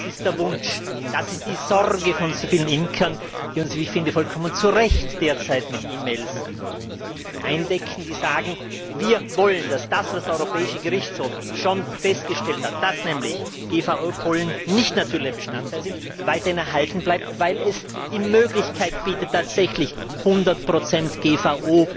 Das ist der Wunsch, das ist die Sorge von so vielen Imkern, die uns, wie ich finde, vollkommen zu Recht derzeit mit E Mails eindecken, die sagen Wir wollen, dass das, was der Europäische Gerichtshof schon festgestellt hat, dass nämlich GVO Pollen nicht natürliche Bestandteile sind, weiterhin erhalten bleibt, weil es die Möglichkeit bietet, tatsächlich 100 GVO